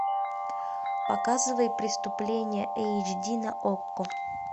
показывай преступление эйч ди на окко